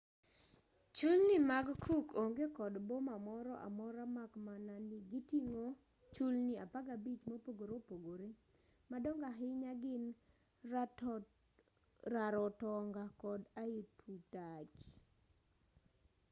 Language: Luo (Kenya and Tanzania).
chulni mag cook onge kod boma moro amora mak mana ni giting'o chulni 15 mopogore opogore madongo ahinya gin rarotonga kod aitutaki